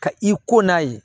Ka i ko n'a ye